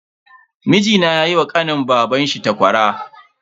Mijina yayi wa kanin babanshi takwara.